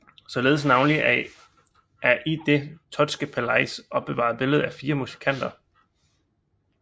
Således navnlig et i det Thottske Palais opbevaret billede af fire musikanter